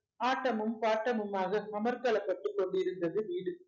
ஆட்டமும் பாட்டமுமாக அமர்க்களப்பட்டுக் கொண்டிருந்தது வீடு